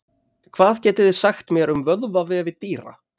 hvað getið þið sagt mér um vöðvavefi dýra